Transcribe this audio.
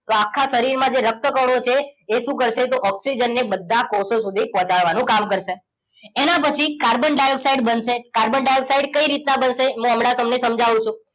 તો આખા શરીરમાં જે રક્ત કણો છે એ શું કરશે તો ઓક્સિજન ને બધા કોષો સુધી પહોંચાડવાનું કામ કરશે એના પછી કાર્બન ડાયોક્સાઇડ બનશે કાર્બન ડાયોક્સાઇડ કઈ રીતના બનશે હું હમણાં તમને સમજાવું છું